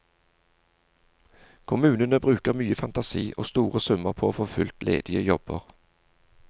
Kommunene bruker mye fantasi og store summer på å få fylt ledige jobber.